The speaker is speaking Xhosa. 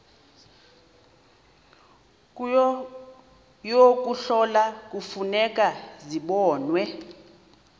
yokuhlola kufuneka zibonwe